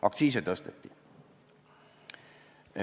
Aktsiise tõsteti.